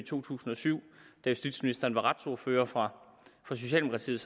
to tusind og syv hvor justitsministeren var retsordfører for socialdemokratiet